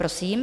Prosím.